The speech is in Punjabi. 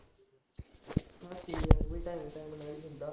ਉਹ ਵੀ time time ਨਾਲ ਹੀ ਹੁੰਦਾ